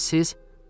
Bəs siz?